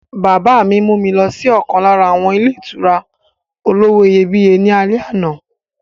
Bàbá mi mú wa lọ sí ọ̀kan lára àwọn ilé ìtura olówó iyebíye ní alẹ́ àná.